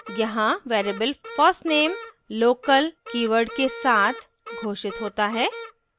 यहाँ variable first _ name local keyword के साथ घोषित होता है